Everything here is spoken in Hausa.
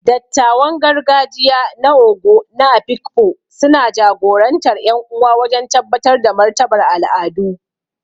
Dattawan gargajiya na Ogo na Afikpo suna jagorantar ƴan uwa wajen tabbatar da martabar al’adu.